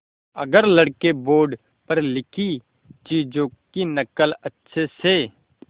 अगर लड़के बोर्ड पर लिखी चीज़ों की नकल अच्छे से